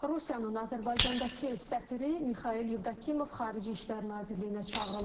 Rusiyanın Azərbaycandakı səfiri Mixail Yevdokimov Xarici İşlər Nazirliyinə çağırılıb.